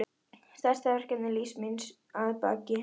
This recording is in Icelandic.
Stærsta verkefni lífs míns að baki.